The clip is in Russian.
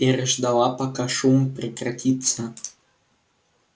переждала пока шум прекратится